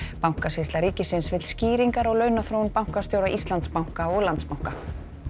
bankasýsla ríkisins vill skýringar á launaþróun bankastjóra Íslandsbanka og Landsbanka